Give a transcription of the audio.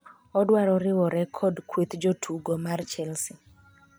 odwaro riwore kod kweth jotugo mar Chelsea